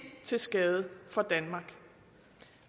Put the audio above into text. til skade for danmark